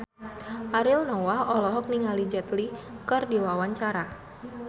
Ariel Noah olohok ningali Jet Li keur diwawancara